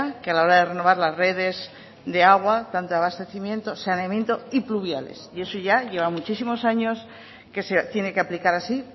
que a la hora de renovar las redes de agua tanto de abastecimiento saneamiento y pluviales y eso ya lleva muchísimos años que se tiene que aplicar así